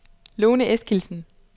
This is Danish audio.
Lone Eskildsen